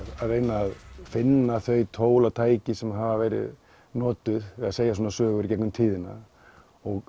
að reyna að finna þau tól og tæki sem hafa verið notuð við að segja svona sögur í gegnum tíðina og